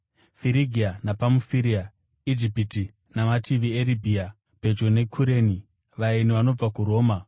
Firigia nePamufiria, Ijipiti namativi eRibhia pedyo neKureni; vaeni vanobva kuRoma